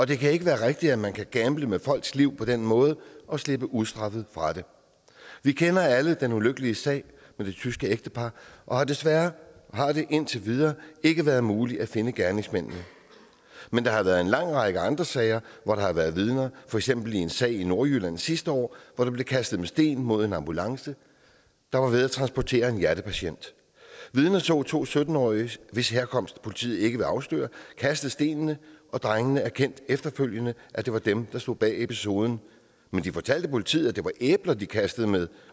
det kan ikke være rigtigt at man kan gamble med folks liv på den måde og slippe ustraffet fra det vi kender alle den ulykkelige sag med det tyske ægtepar og desværre har det indtil videre ikke været muligt at finde gerningsmændene men der har været en lang række andre sager hvor der har været vidner for eksempel i en sag i nordjylland sidste år hvor der blev kastet med sten mod en ambulance der var ved at transportere en hjertepatient vidner så to sytten årige hvis herkomst politiet ikke vil afsløre kaste stenene og drengene erkendte efterfølgende at det var dem der stod bag episoden men de fortalte politiet at det var æbler de kastede med